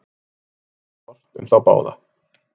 Var níð ort um þá báða.